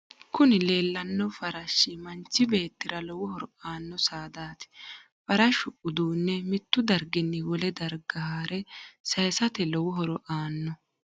kuni leellanno farashshi manchi beetira lowo horo aano saadati. farashu uduunne mittu darginni wole darga hare sayisate lowo horo aanno.